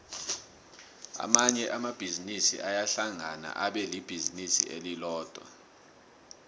amanye amabhizinisi ayahlangana abelibhizinisi elilodwa